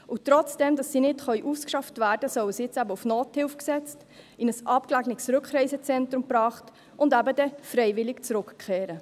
Und obwohl sie nicht ausgeschafft werden können, sollen sie jetzt eben auf Nothilfe gesetzt, in ein abgelegenes Rückreisezentrum gebracht werden und dann eben freiwillig zurückkehren.